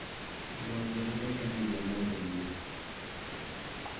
Nguo njerũ nĩkenagia mũndũ mũno